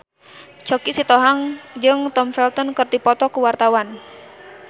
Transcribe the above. Choky Sitohang jeung Tom Felton keur dipoto ku wartawan